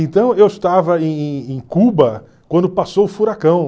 Então, eu estava em em em Cuba quando passou o furacão.